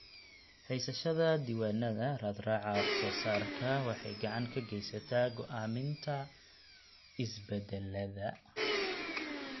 Haysashada diiwaannada raadraaca wax-soo-saarka waxay gacan ka geysataa go'aaminta isbeddellada.